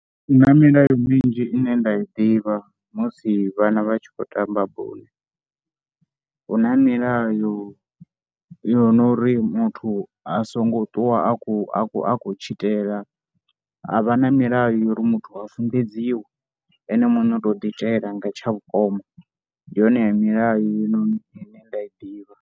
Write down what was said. Hu na milayo minzhi ine nda i ḓivha musi vhana vha tshi khou tamba bola, hu na milayo yo no ri muthu a songo ṱuwa a khou a khou tshitela. Ha vha na milayo ya uri muthu a funḓedziwe ene muṋe u tou ḓiitela nga tsha vhukoma ndi yone ya milayo henoni ine nda i ḓivha.